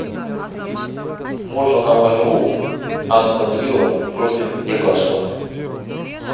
можно нам игру астон вилла против ньюкасла